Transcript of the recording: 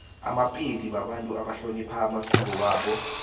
amapedi babantu abahlonipha amasiko wabo